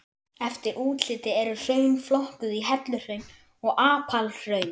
Eftir útliti eru hraun flokkuð í helluhraun og apalhraun.